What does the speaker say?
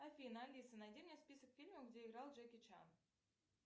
афина алиса найди мне список фильмов где играл джеки чан